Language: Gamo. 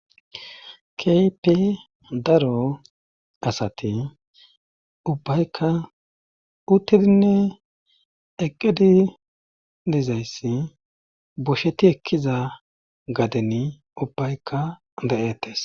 Keehipe daro asati ubbayka uttidinne eqqedi dezayssi bosheti ekkiza gaden ubbaykka da7ettes.